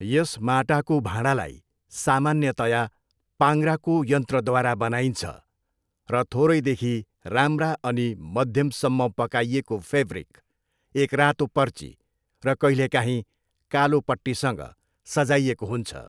यस माटाको भाँडालाई सामान्यतया पाङ्ग्राको यन्त्रद्वारा बनाइन्छ, र थोरैदेखि राम्रा अनि मध्यमसम्म पकाइएको फेब्रिक, एक रातो पर्ची र कहिलेकाहीँ कालो पट्टीसंँग सजाइएको हुन्छ।